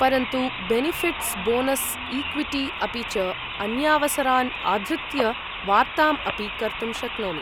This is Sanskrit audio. परन्तु, बेनिफ़िट्स्, बोनस्, ईक्विटी अपि च अन्यावसरान् आधृत्य वार्ताम् अपि कर्तुं शक्नोमि।